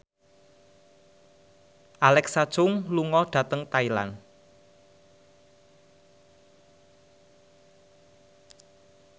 Alexa Chung lunga dhateng Thailand